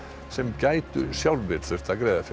sem gætu sjálfir þurft að greiða fyrir